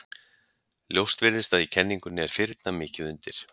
Ljóst virðist að í kenningunni er firna mikið undir.